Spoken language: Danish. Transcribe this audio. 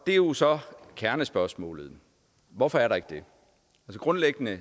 er jo så kernespørgsmålet hvorfor er der ikke det grundlæggende